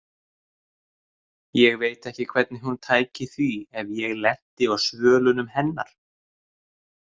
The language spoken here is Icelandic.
Ég veit ekki hvernig hún tæki því ef ég lenti á svölunum hennar.